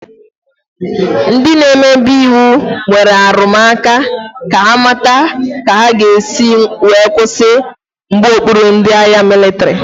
Ndị n'emebe iwu nwere arụmụka ka ha mata ka ha ga-esi kwụsị mgbaokpuru ndị agha mịlịtrị.